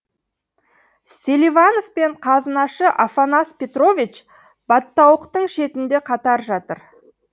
селиванов пен қазынашы афанас петрович баттауықтың шетінде қатар жатыр